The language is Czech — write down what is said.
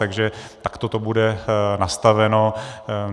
Takže takhle to bude nastaveno.